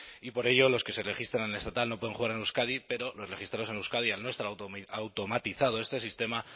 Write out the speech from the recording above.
y por ello los que se registran en estatal no pueden jugar en euskadi pero los registrados en euskadi al no estar automatizado este sistema